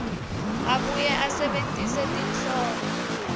abuye asebentise tinhlobo